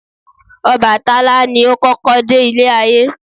Ọbàtálá ni o kọ́kọ́ de Ilé ayé